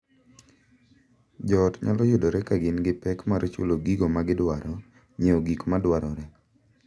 Jo ot nyalo yudore ka gin gi pek mar chulo gigo ma gidwaro, nyiewo gik ma dwarore,